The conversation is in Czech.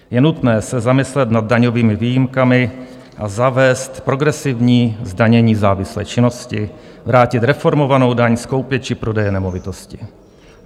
Je nutné se zamyslet nad daňovými výjimkami a zavést progresivní zdanění závislé činnosti, vrátit reformovanou daň z koupě či prodeje nemovitosti.